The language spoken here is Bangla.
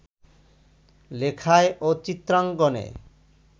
লেখায় ও চিত্রাঙ্কনে